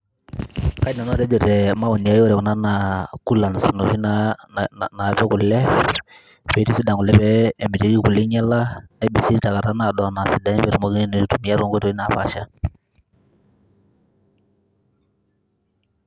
Kaidim nanu atejo te maoni aii ore kuna naa coolants inoshi naa naapik kule, piitisidan kule pee emitiki kule inyala nepising' te nkata naado e sidain pee etumokini aitumia to nkoitoi napaasha.